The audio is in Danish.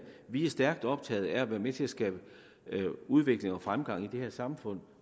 vi er stærkt optaget af at være med til at skabe udvikling og fremgang i det her samfund